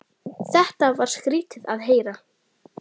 Ég er ekkert feimin.